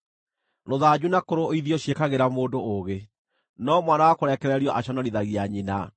Rũthanju na kũrũithio ciĩkagĩra mũndũ ũũgĩ, no mwana wa kũrekererio aconorithagia nyina.